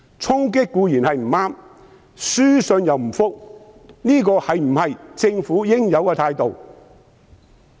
衝擊固然不對，但書信又不回覆，這是否政府應有的態度？